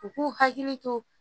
U k'u hakili to